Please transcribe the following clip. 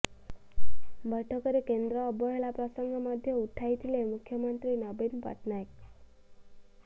ବୈଠକରେ କେନ୍ଦ୍ର ଅବହେଳା ପ୍ରସଙ୍ଗ ମଧ୍ୟ ଉଠାଇଥିଲେ ମୁଖ୍ୟମନ୍ତ୍ରୀ ନବୀନ ପଟ୍ଟନାୟକ